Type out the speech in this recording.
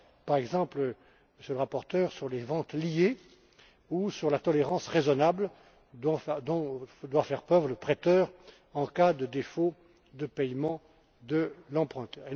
Par exemple, Monsieur le rapporteur, sur les ventes liées ou sur la tolérance raisonnable dont doit faire preuve le prêteur en cas de défaut de paiement de l'emprunteur.